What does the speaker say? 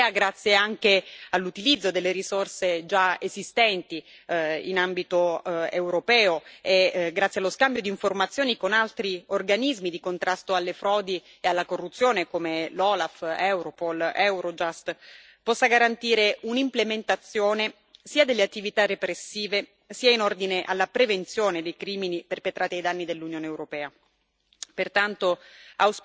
Ritengo che il lavoro della Procura europea, grazie anche all'utilizzo delle risorse già esistenti in ambito europeo e grazie allo scambio di informazioni con altri organismi di contrasto alle frodi e alla corruzione, come l'OLAF, Europol ed Eurojust, possa garantire un'implementazione sia delle attività repressive, sia in ordine alla prevenzione dei crimini perpetrati ai danni dell'Unione europea.